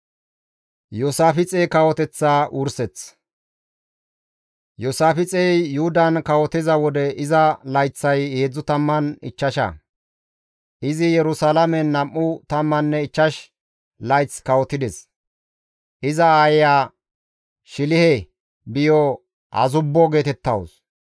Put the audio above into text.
Iyoosaafixey Yuhudan kawotiza wode iza layththay 35; izi Yerusalaamen nam7u tamman ichchash layth kawotides; iza aayeya Shilihe biyo Azubbo geetettawus.